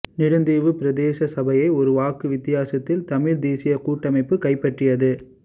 நெடுந்தீவு பிரதேச சபையை ஒரு வாக்கு வித்தியாசத்தில் தமிழ் தேசியக் கூட்டமைப்பு கைப்பற்றியது